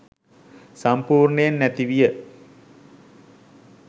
සම්පූර්ණයෙන් නැති විය